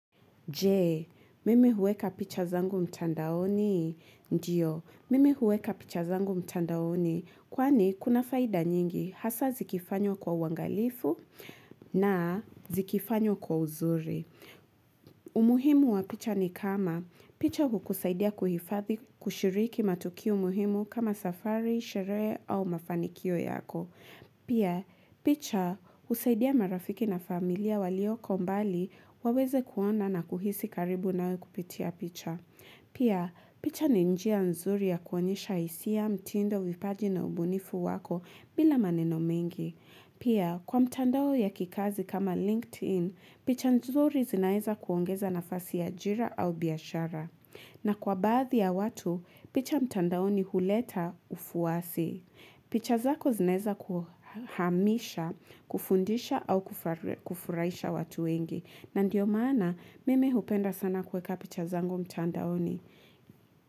Je, mimi huweka picha zangu mtandaoni? Ndio, mimi huweka picha zangu mtandaoni, kwani kuna faida nyingi hasa zikifanywa kwa uangalifu, na, zikifanywa kwa uzuri. Umuhimu wa picha ni kama, picha hukusaidia kuhifathi kushiriki matukio muhimu, kama safari, sherehe au mafanikio yako. Pia, picha husaidia marafiki na familia waliokombali, waweze kuona na kuhisi karibu nawe kupitia picha. Pia, picha ni njia nzuri ya kuonyesha hisia, mtindo, vipaji, na ubunifu wako, bila maneno mengi. Pia, kwa mtandao ya kikazi kama LinkedIn, picha nzuri zinaweza kuongeza nafasi ya ajira au biashara. Na kwa baadhi ya watu, picha mtandaoni huleta ufuasi. Picha zako zinaweza kuhamisha, kufundisha au kufurahisha watu wengi. Na ndio maana mimi hupenda sana kuweka picha zangu mtandaoni.